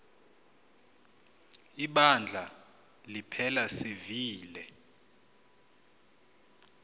ibandla liphela sivile